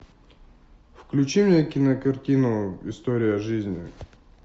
включи мне кинокартину история жизни